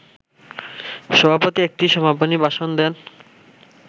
সভাপতি একটি সমাপনী ভাষণ দেন